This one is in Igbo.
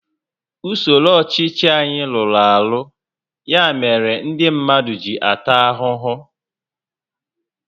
Usoro ọchịchị anyị rụrụ arụ, ya mere ndị mmadụ ji ata ahụhụ